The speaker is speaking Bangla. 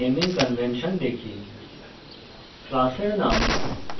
এখন আমরা জাভাতে naming কনভেনশন দেখি